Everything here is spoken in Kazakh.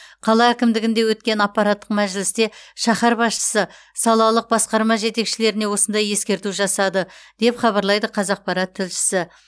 қала әкімдігінде өткен аппараттық мәжілісте шаһар басшысы салалық басқарма жетекшілеріне осындай ескерту жасады деп хабарлайды қазақпарат тілшісі